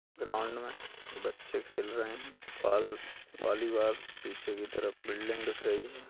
Ground में बच्चे खेल रहे हैं बाल वॉलीबॉल पीछे की तरफ बिल्डिंग दिख रही है।